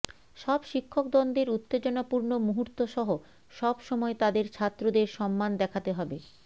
সব শিক্ষক দ্বন্দ্বের উত্তেজনাপূর্ণ মুহূর্ত সহ সব সময় তাদের ছাত্রদের সম্মান দেখাতে হবে